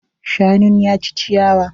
Shanun ya ci ciyawa.